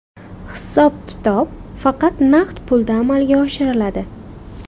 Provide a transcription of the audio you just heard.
Hisob-kitob faqat naqd pulda amalga oshiriladi.